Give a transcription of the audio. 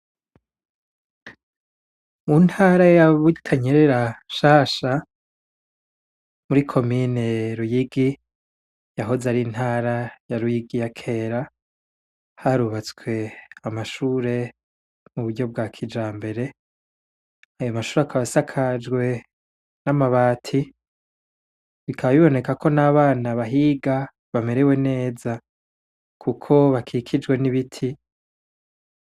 Mu ntara yabutanyerera shasha muri ko mine luyigi yahoze ari intara ya luyigi ya kera harubatswe amashure mu buryo bwa kija mbere ayo mashuri akabasakajwenau ma bati bikababiboneka ko n'abana bahiga bamerewe neza, kuko bakikijwe n'ibiti.